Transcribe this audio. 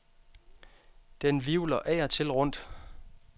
Den hvirvler af og til rundt.